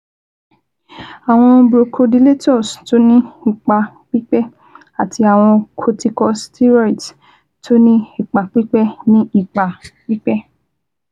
Àwọn bronchodilators tó ní ipa pípẹ́ àti àwọn corticosteroids tó ní ipa pípẹ́ ní ipa pípẹ́